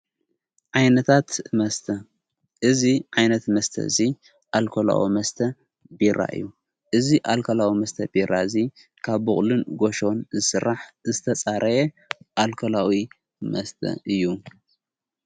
ዓይነታት መስተ እዝ ዓይነት መስተ እዙይ ኣልኮላኦ መስተ ቢራ እዩ እዙ ኣልከላኦ መስተ ቢራ እዙ ካብ ቦቕልን ጐሾን ሥራሕ ዝተፃረየ ኣልከላዊ መስተ እዩ::